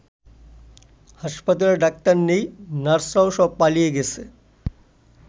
হাসপাতালে ডাক্তার নেই, নার্সরাও সব পালিয়ে গেছে।